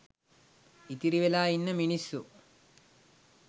ඉතිරිවෙලා ඉන්න මිනිස්සු